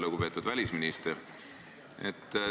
Lugupeetud välisminister!